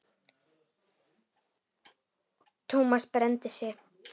Thomas brenndi sig.